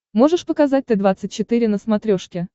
можешь показать т двадцать четыре на смотрешке